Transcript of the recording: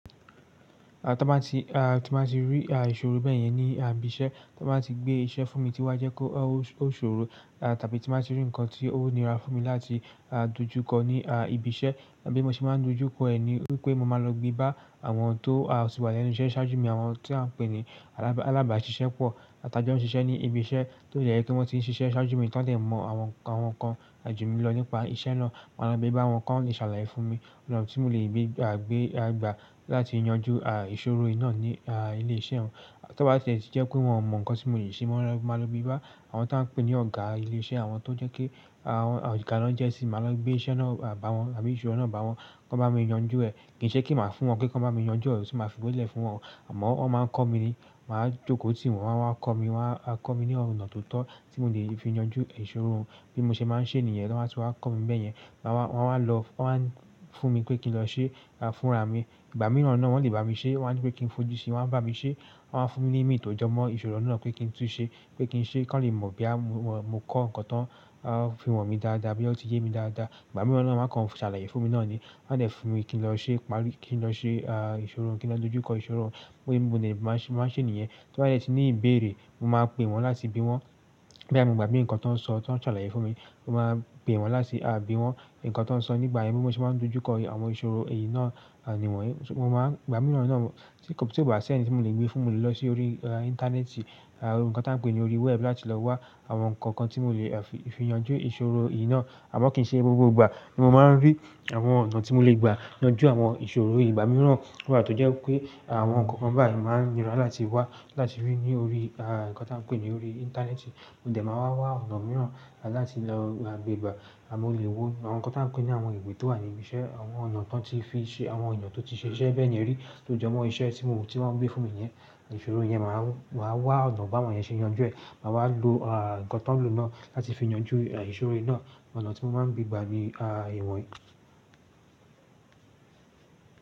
Ton ba ti, tí n bá ti rí ìṣòro bẹ́ẹ̀ yẹn ní ibi iṣẹ́, tọ́n bá ti gbé iṣẹ́ fún mi tí wá jẹ́ pe ó ṣòro, tàbí tí n bá ti rí ǹkan tí ó nira fún mi láti dojúkọ ní ibi iṣẹ́, bí mo ṣe máa dojúkọ ẹ̀ ni wípé mo máa lọ gbé bá àwọn tó ti wà lẹ́nu iṣẹ́ ṣáájú mi, àwọn tí à ń pè ní alábàáṣiṣẹ́ pọ̀, tà jọ́ ń ṣiṣẹ́ ní ibi iṣẹ́ tó de jẹ́ pe wọ́n ti ń ṣiṣẹ́ ṣáájú mi, tọ́n dè mọ àwọn nǹkan àjùmilọ nípa iṣẹ́ náà. Máa lọ gbé bá wọn kan lè ṣàlàyé fún mi, ọ̀nà tí mo lè gbé gbà láti yanjú ìṣòro yìí náà ní ilé iṣẹ́ hun. Tọ́ bá tie ti jẹ́ pé wọn o mọ ǹkan tí mo le ṣe mo máa lọ gbé bá àwọn tà ń pè ní ọ̀gá ilé iṣẹ́, àwọn tó jẹ́ pe, àwọn ọ̀gá lọ jẹ́ sí mi, máa lọ gbé iṣẹ́ náà bá wọn tàbí ìṣòro náà bá wọn kan bá mi yanjú ẹ. Kì í ṣe pe màá fún wọn pe kan bá mi yanjú ẹ, ti máa fi gbelẹ̀ fún wọn o, àmọ́ wọ́n máa ń kọ mí ni, màá jókòó tì wọ́n, wọ́n a wá kọ́ mi, wọ́n á kọ́ mi ní ọ̀nà tó tọ́ tí mo lè fi yanjú ìṣòro. Bí mo ṣe máa ń ṣe nìyen, tọ́n bá ti wá kọ́ mi bẹ́ẹ̀ yẹn. Wọ́n a wá lọ wo wa ni, fún mi pé kí n lọ ṣe fúnra mi. Ìgbà mìíràn náà wọn lè bá mi ṣẹ́, wọ́n á nipé kí n fojú sí i, wọ́n á bá mi ṣẹ́, wọ́n á fún mi ní ìmì tò jọmọ́ ìṣòro náà pé kí n tú ṣẹ, pé kí n ṣe kan lè mọ̀ boya mo kọ́ ǹkan tán, fi han mi dáadáa, bóya o ti yé mi dáadáa. Ìgbà mìíràn náà wa kan ṣàlàyé fún mi náà ni. Wọ́n á dẹ̀ fún mi kí n lọ ṣe párí, kí n lọ ṣe ìṣòro, kí n lọ dojúkọ ìṣòro. Bi mo de máa ń ṣe nìyen, to bá dẹ́ ti ní ìbéèrè, mo máa pè wọ́n láti bi wọ́n. Boya mo gbagbe nǹkan tọ́n ṣọ, tí wọ́n ṣàlàyé fún mi, mo máa pè wọ́n láti bi wọ́n nǹkan tọ́n ṣọ nígbà yẹn bí mo ṣe máa n dojúkọ àwọn ìṣòro èyí náà nìwọ̀nyí. Mo máa ìgbà mìíràn náà tí kò bá sì ẹnì tí mo lè gbé fún mo le lọ sí orí íńtánẹ́ẹ̀tì, nǹkan tà ń pè ní orí wẹb láti lọ wá àwọn nǹkan kan tí mo lè fi yanjú ìṣòro yìí náà. Àmọ́ kì í ṣe gbogbo ìgbà ni mo máa ń rí àwọn ọ̀nà tí mo lè gba yanjú àwọn ìṣòro yìí. Ìgbà mìíràn tun wa to jẹ́ wipé àwọn nǹkan báyìí máa ń nira láti wá láti rí ní orí nǹkan tí à ń pè ní orí íńtánẹ́ẹ̀tì, mo dẹ̀ máa wa wá ọ̀nà mìíràn láti lọ ma gbé gbà. À mọ́ lè wo àwọn nǹkan tà ń pè ní àwọn ìwé tó wà ní ibi iṣẹ́, àwọn ọ̀nà tó ti fi ṣe, àwọn èèyàn tó ti ṣe iṣẹ́ bẹyen ri to jo mo iṣẹ́ ti won gbe fún mi yen, ìṣòro yen ma wa ọ̀nà bawon yen se yanju e ma wa lo nǹkan ton lo náà láti fi yanju ìṣòro yi náà ọ̀nà ti mo maa n gbe gba ni iwonyii.